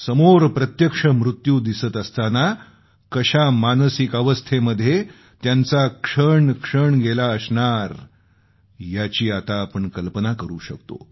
समोर प्रत्यक्ष मृत्यू दिसत असताना कशा मानसिक अवस्थेमध्ये त्यांचा क्षण क्षण गेला असणार याची आता आपण कल्पना करू शकतो